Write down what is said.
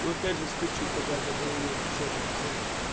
ну пять же скачуха да базара нет пятьдесят на пятьдесят